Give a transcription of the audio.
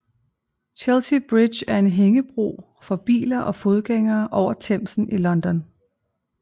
Chelsea Bridge er en hængebro for biler og fodgængere over Themsen i London